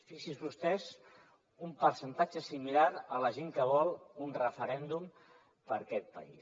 fixi’s vostè un percentatge similar a la gent que vol un referèndum per a aquest país